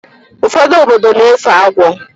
Ụfọdụ obodo na-efe agwọ